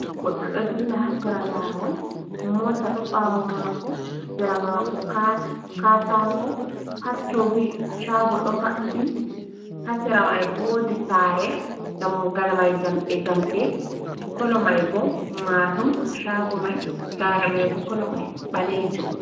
Goɗɗo ɗo dilla ha sera lawol, mota ɗo ɓawo mako, ha sera mako katako ha toni shago ɗo maɓi, ha sera mai wodi saare dammugal mai jamɗe jamɗe kolo mai bo marrum shago mai, saare mai bo kolo mai ɓalejuum.